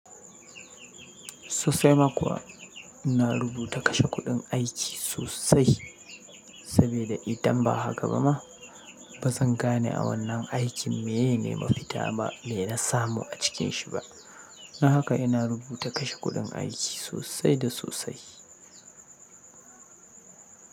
Sosai ma kuwa ina rubuta kashe kuɗin aiki sosai sabida idan ba haka ba ma ba zan gane a wannan aikin meye ne mafita ba, mena na samu a cikin shi ba. Don haka ina rubuta kashe kuɗin aiki sosai da sosai.